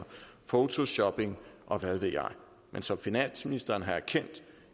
photoshopping og hvad ved jeg men som finansministeren har erkendt